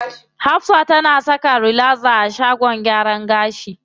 Hafsa tana saka relaxer a shagon gyaran gashi.